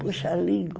Puxa língua.